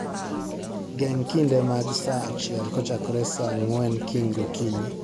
Geng' kinde mag saaachiel kochakore saa ang'wen kiny gokinyi